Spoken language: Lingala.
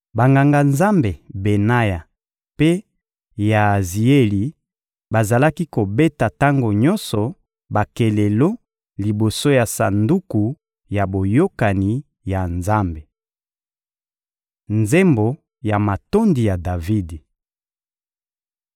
Banganga-Nzambe Benaya mpe Yaazieli bazalaki kobeta tango nyonso bakelelo liboso ya Sanduku ya Boyokani ya Nzambe. Nzembo ya matondi ya Davidi